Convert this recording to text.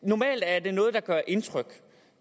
normalt er det noget gør indtryk